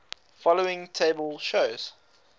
following table shows